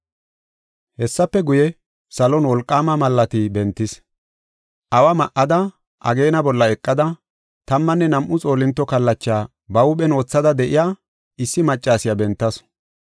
Hessafe guye, salon wolqaama malaati bentis. Awa ma7ada, ageena bolla eqada, tammanne nam7u xoolinto kallacha ba huuphen wothida de7iya, issi maccasiya bentasu.